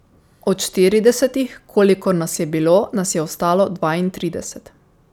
Od štiridesetih, kolikor nas je bilo, nas je ostalo dvaintrideset.